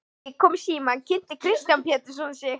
Þegar ég kom í símann kynnti Kristján Pétursson sig.